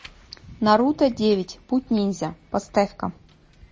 наруто девять путь ниндзя поставь ка